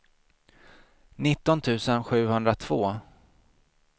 nitton tusen sjuhundratvå